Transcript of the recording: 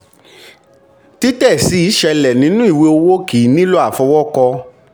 títẹ̀ síi ṣẹlẹ̀ nínú ìwé owó kìí nílò àfọwọ́kọ.